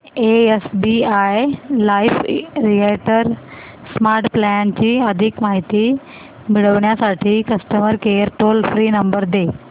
SBI life retire smart plan ची अधिक माहिती मिळविण्यासाठी customer care toll free number दे